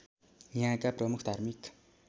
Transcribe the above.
यहाँका प्रमुख धार्मिक